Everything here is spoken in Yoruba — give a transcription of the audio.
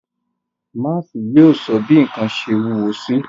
Máási yóò sọ bi nkan ṣe wuwo si.